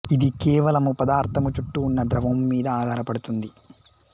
ఇది కేవలము పదార్థము చుట్టూ ఉన్న ద్రవము మీద ఆధారపడుతుంది